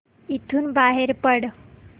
इथून बाहेर पड